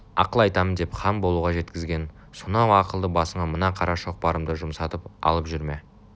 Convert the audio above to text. ақыл айтамын деп хан болуға жеткізген сонау ақылды басыңа мына қара шоқпарымды жұмсатып алып жүрме